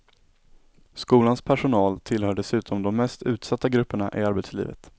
Skolans personal tillhör dessutom de mest utsatta grupperna i arbetslivet.